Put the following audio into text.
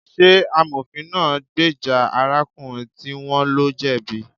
Ṣé amofin náà gbèjà arákùnrin tí wón lo jẹ̀bi